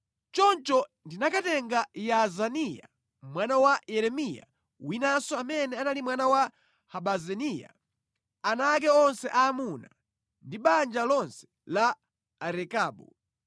Choncho ndinakatenga Yaazaniya (mwana wa Yeremiya winanso amene anali mwana wa Habaziniya), abale ake, ana ake onse aamuna ndi banja lonse la Arekabu.